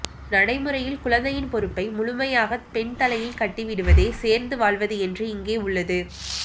நடைமுறையில் குழந்தையின் பொறுப்பை முழுமையாகப் பெண் தலையில் கட்டிவிடுவதே சேர்ந்துவாழ்வது என்று இங்கே உள்ளது